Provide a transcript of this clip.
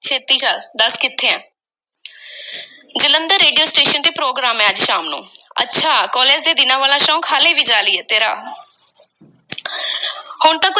ਛੇਤੀ ਚੱਲ, ਦੱਸ ਕਿੱਥੇ ਏਂ? ਜਲੰਧਰ, ਰੇਡੀਓ ਸਟੇਸ਼ਨ ਤੋਂ program ਏ, ਅੱਜ ਸ਼ਾਮ ਨੂੰ। ਅੱਛਾ, ਕਾਲਜ ਦੇ ਦਿਨਾਂ ਵਾਲਾ ਸ਼ੌਕ ਹਾਲੀ ਵੀ ਜਾਰੀ ਏ, ਤੇਰਾ! ਹੁਣ ਤਾਂ ਕੁੱਝ